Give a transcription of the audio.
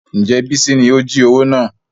Ǹjẹ́ bísí ni ó jí owó náà?